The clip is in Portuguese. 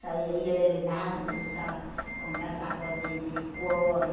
Saia e era elegante, se usava com casaco de de couro.